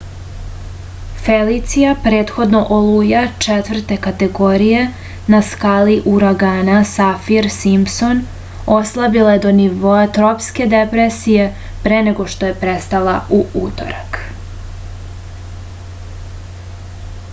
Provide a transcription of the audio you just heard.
felicija prethodno oluja 4. kategorije na skali uragana safir-simpson oslabila je do nivoa tropske depresije pre nego što je prestala u utorak